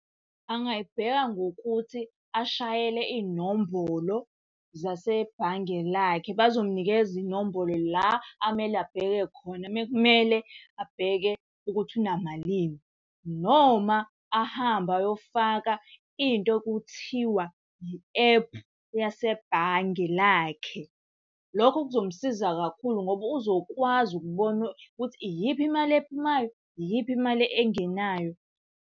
Angayibheka ngokuthi ashayele iy'nombolo zasebhange lakhe, bazomunikeza inombolo la amele abheke khona uma kumele abheke ukuthi unamalini. Noma ahambe ayofaka into ekuthiwa i-ephu yasebhange lakhe. Lokho kuzomsiza kakhulu ngoba uzokwazi ukubona ukuthi iyiphi imali ephumayo, iyiphi imali engenayo.